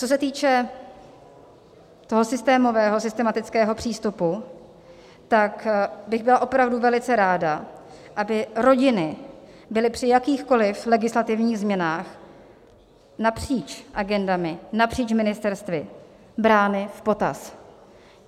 Co se týče toho systémového, systematického přístupu, tak bych byla opravdu velice ráda, aby rodiny byly při jakýchkoli legislativních změnách napříč agendami, napříč ministerstvy brány v potaz.